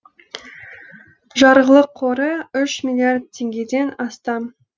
жарғылық қоры үш миллиард теңгеден астам